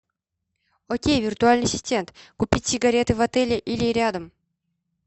окей виртуальный ассистент купить сигареты в отеле или рядом